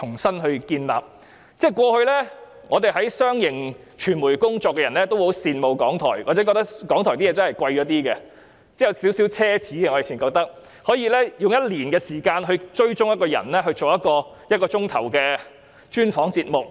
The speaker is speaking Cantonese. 過去，我們在商營傳媒機構工作的人皆十分羨慕港台，或認為港台的製作較為奢侈，因為他們可以花上一年時間追蹤一個人，以製作一個1小時的專訪節目。